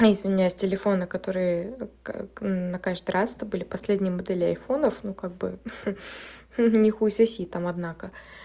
ну извиняюсь телефоны которые на каждый раз это были последние модели айфонов ну как бы не хуй соси там однако